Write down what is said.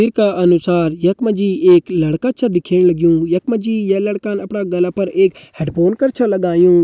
तस्वीर का अनुसार यख मा जी एक छा लड़का दिखेण लग्युं यख मा जी ये लड़का न अपरा गला पर एक हैडफ़ोन कर छ लग्युं।